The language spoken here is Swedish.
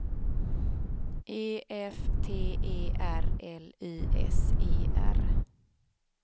E F T E R L Y S E R